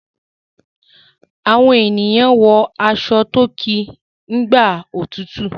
Awọn ènìyàn wọ aṣọ to kí nÌgbà òtútù.